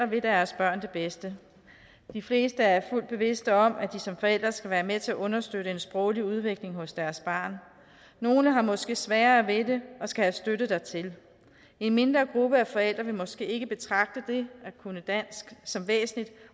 vil deres børn det bedste de fleste er fuldt bevidste om at de som forældre skal være med til at understøtte en sproglig udvikling hos deres barn nogle har måske sværere ved det og skal have støtte dertil en mindre gruppe af forældre vil måske ikke betragte det at kunne dansk som væsentligt